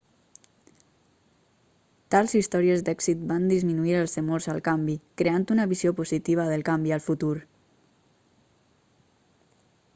tals històries d'èxit van disminuir els temors al canvi creant una visió positiva del canvi al futur